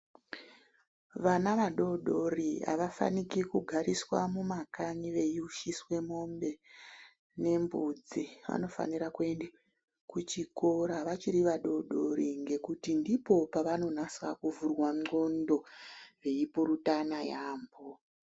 Vana vadodori avafaniki kugariswa mumakanyi veyiushiswe mombe nembudzi. Vanofanira kuende kuchikora vachiri vadodori ngekuti ndipo pavanonasa kuvhurwa ndxondo veyipurutana yaampho.